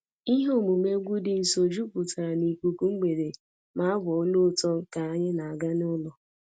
Ihe omume egwu dị nso jupụtara n'ikuku mgbede ma abụ olu ụtọ ka anyị na-aga n'ụlọ